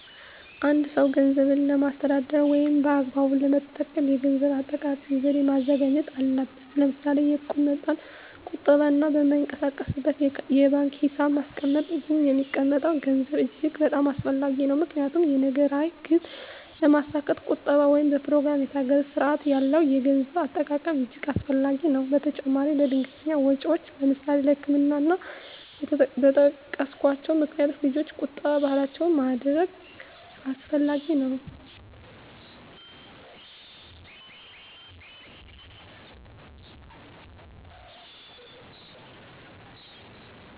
አ አንድ ሰው ገንዘብን ለማስተዳደር ወይም በአግባቡ ለመጠቀም የገንዘብ አጠቃቀም ዘዴ ማዘጋጀት አለበት ለምሳሌ የእቁብ መጣል ቁጠባ እና በማይንቀሳቀስ የባንክ ሒሳብ ማስቀመጥ ይህ የሚቀመጠም ገንዘብ እጅግ በጣም አስፈላጊ ነው ምክንያቱም የነገ ራዕይ ግብ ለማስካት ቁጠባ ወይም በኘሮግራም የታገዘ ስርአት ያለው የገንዘብ አጠቃቀም እጅገ አስፈላጊ ነገር ነው በተጨማራም ለድንገተኛ ወጨወች ለምሳሌ ለህክምና እና እና በጠቀስኮቸው ምክንያቶች ልጆች ቁጠባ ባህላችን ማድረግ አስፈላጊ ነው።